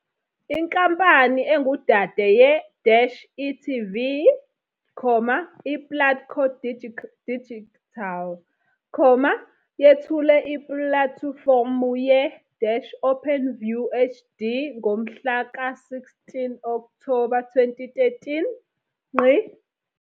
Inkampani engudade ye-e.tv, iPlatco Digital, yethule ipulatifomu ye-Openview HD ngomhlaka 16 Okthoba 2013.